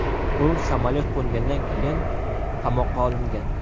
U samolyot qo‘ngandan keyin qamoqqa olingan.